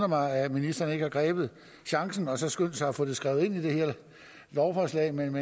mig at ministeren ikke har grebet chancen og så skyndt sig at få det skrevet ind i det her lovforslag men